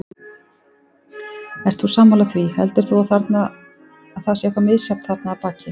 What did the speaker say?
Ert þú sammála því, heldur þú að það sé eitthvað misjafnt þarna að baki?